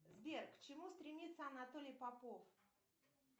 сбер к чему стремится анатолий попов